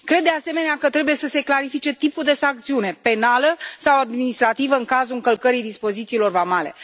Cred, de asemenea, că trebuie să se clarifice tipul de sancțiune, penală sau administrativă, în cazul încălcării dispozițiilor vamale.